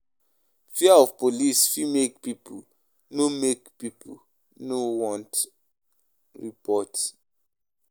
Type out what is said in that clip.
Fear of police fit make pipo no want report wahala; e dey serious.